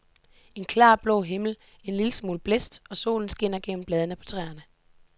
En klar blå himmel, en lille smule blæst og solen skinner gennem bladene på træerne.